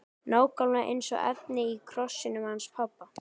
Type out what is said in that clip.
Nákvæmlega eins efni og í krossinum hans pabba!